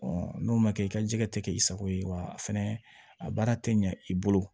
n'o ma kɛ i ka jɛgɛ tɛ kɛ i sago ye wa a fɛnɛ a baara tɛ ɲa i bolo